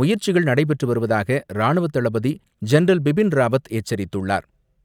முயற்சிகள் நடைபெற்று வருவதாக ராணுவத் தளபதி ஜென்ரல் பிபின் ராவத் எச்சரித்துள்ளார்.